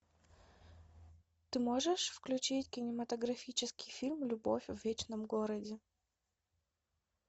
ты можешь включить кинематографический фильм любовь в вечном городе